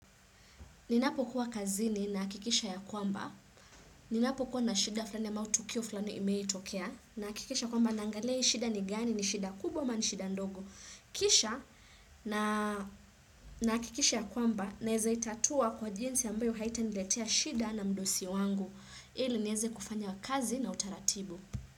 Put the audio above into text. Ninapo kuwa kazini nahakikisha ya kwamba, ninapokuwa na shida fulani ya matukio flani imeitokea, nahakikisha kwamba naangalia hii shida ni gani, ni shida kubwa ama ni shida ndogo. Kisha nahakikisha ya kwamba naeza itatua kwa jinsi ambayo haita niletea shida na mdosi wangu. Ili nieze kufanya kazi na utaratibu.